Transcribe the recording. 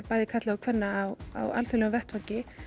bæði karla og kvenna á á alþjóðlegum vettvangi